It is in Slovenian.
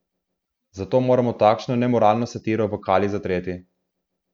Zato moramo takšno nemoralno satiro v kali zatreti.